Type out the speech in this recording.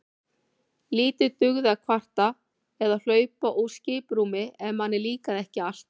Lítið dugði að kvarta eða hlaupa úr skiprúmi ef manni líkaði ekki allt.